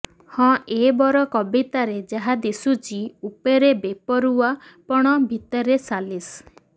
ହଁ ଏବର କବିତାରେ ଯାହା ଦିଶୁଚି ଉପରେ ବେପରୁଆ ପଣ ଭିତରେ ସାଲିସ୍